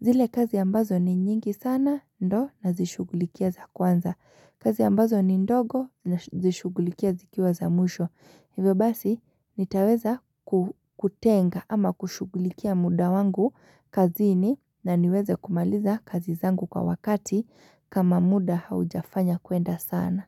zile kazi ambazo ni nyingi sana ndo na zishugulikia za kwanza kazi ambazo ni ndogo na zishugulikia zikiwa za mwisho. Hivyo basi nitaweza kutenga ama kushugulikia muda wangu kazini. Naniweze kumaliza kazi zangu kwa wakati kama muda haujafanya kuenda sana.